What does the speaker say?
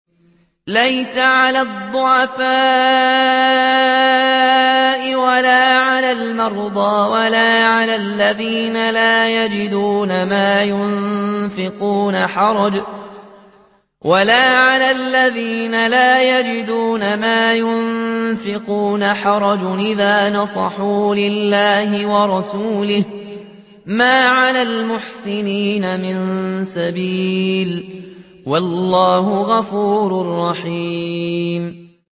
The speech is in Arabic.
لَّيْسَ عَلَى الضُّعَفَاءِ وَلَا عَلَى الْمَرْضَىٰ وَلَا عَلَى الَّذِينَ لَا يَجِدُونَ مَا يُنفِقُونَ حَرَجٌ إِذَا نَصَحُوا لِلَّهِ وَرَسُولِهِ ۚ مَا عَلَى الْمُحْسِنِينَ مِن سَبِيلٍ ۚ وَاللَّهُ غَفُورٌ رَّحِيمٌ